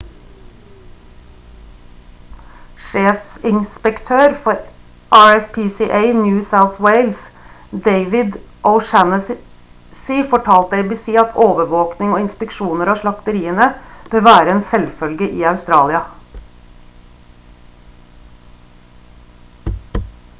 sjefinspektør for rspca new south wales david o'shannessy fortalte abc at overvåkning og inspeksjoner av slakteriene bør være en selvfølge i australia